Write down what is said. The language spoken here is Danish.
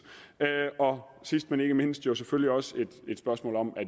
sidst men ikke mindst er der selvfølgelig også spørgsmålet om at